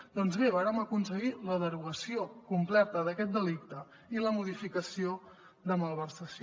doncs bé vàrem aconseguir la derogació completa d’aquest delicte i la modificació de malversació